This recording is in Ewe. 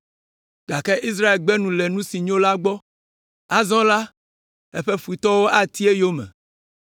Gake Israel gbe nu le nu si nyo la gbɔ; azɔ la, eƒe futɔwo ati eyome.